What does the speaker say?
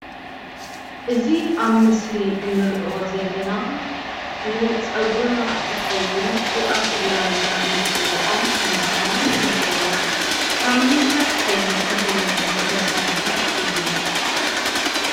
እዚ ኣብ ምስሊ እንሪኦ ዘለና ንፀጉሪና ዝኸውን ቅብኣት እናበልና ንፅዎዖ ከምዝኾነ ይሕብረልና። ካብ ምንታይ ዓይነት ተኽሊ ዝተሰርሐ እዩ?